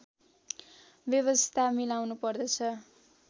व्यवस्था मिलाउनुपर्दछ